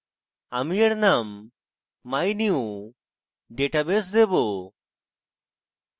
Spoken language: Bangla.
আমি এর name mynewdatabase দেবো